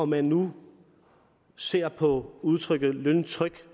man nu ser på udtrykket løntryk